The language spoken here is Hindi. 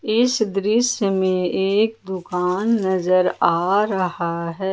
इस दृश्य में एक दुकान नजर आ रहा है।